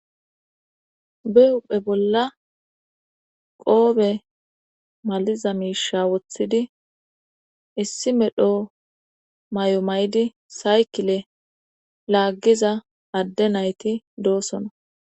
be huphe bolla qoobe maliza miisha woththidi issi medho mayo maydi saykile laaggiza adde nayti doossona